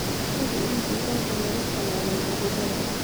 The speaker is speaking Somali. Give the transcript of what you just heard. Hubi in digaagga laga tallaalay cudurrada.